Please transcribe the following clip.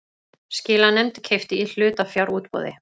Skilanefnd keypti í hlutafjárútboði